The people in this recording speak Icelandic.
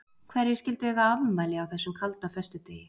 Hverjir skyldu eiga afmæli á þessum kalda föstudegi.